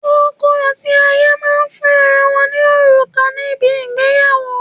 Ọkọ̀ àti aya máa ń fún ara wọn ní òrùka níbi ìgbéyàwó.